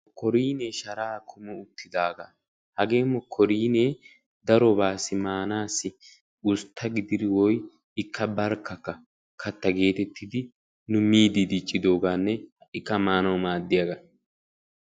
Mokkorinniya sharaa kunttidooga hagaa mokkorinniya darobawu ustta gididdi maadiya darobawu maanawu maadiyaaga.